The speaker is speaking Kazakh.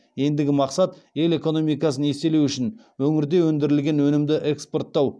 ендігі мақсат ел экономикасын еселеу үшін өңірде өндірілген өнімді экспорттау